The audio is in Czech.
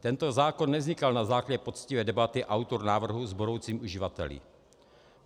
Tento zákon nevznikal na základě poctivé debaty - autor návrhu s budoucími uživateli.